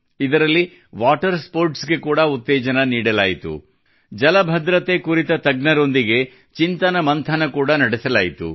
ಇದರಲ್ಲಿ water sports ಗೆ ಕೂಡಾ ಉತ್ತೇಜನ ನೀಡಲಾಯಿತು ಜಲ ಭದ್ರತೆ ಕುರಿತ ತಜ್ಞರೊಂದಿಗೆ ಚಿಂತನಮಂಥನ ಕೂಡಾ ನಡೆಸಲಾಯಿತು